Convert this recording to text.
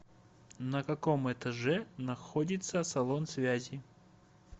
на каком этаже находится салон связи